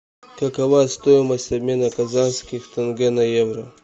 какова стоимость обмена казахских тенге на евро